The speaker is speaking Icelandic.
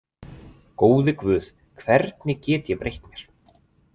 Góði Guð, hvernig get ég breytt mér?